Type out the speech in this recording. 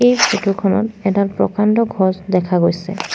এই ফটো খনত এডাল প্ৰকাণ্ড ঘছ দেখা পোৱা গৈছে।